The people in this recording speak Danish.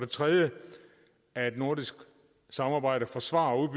tredje er at nordisk samarbejde forsvarer og